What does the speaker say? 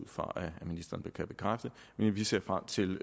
fra at ministeren kan bekræfte men vi ser frem til